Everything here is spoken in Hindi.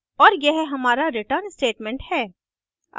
और यह हमारा return statement है